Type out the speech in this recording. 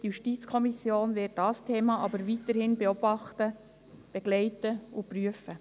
Die JuKo wird dieses Thema aber weiterhin beobachten, begleiten und prüfen.